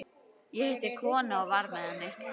Ég hitti konu og var með henni.